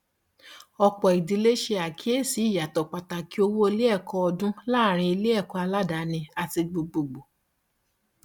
ọpọ ìdílé ṣe àkíyèsí ìyàtọ pàtàkì owó iléẹkọ ọdún láàárín iléẹkọ aládàání àti gbogbogbò